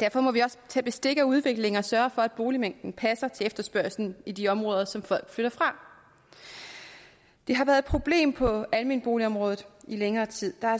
derfor må vi også tage bestik af udviklingen og sørge for at boligmængden passer til efterspørgslen i de områder som folk flytter fra det har været et problem på det almene boligområde i længere tid der har